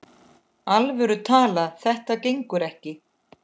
alvöru talað: þetta gengur ekki!